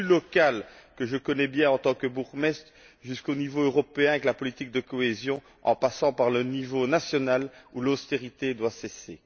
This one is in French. Du plus local, que je connais bien en tant que bourgmestre, jusqu'au niveau européen, avec la politique de cohésion, en passant par le niveau national, où l'austérité doit cesser.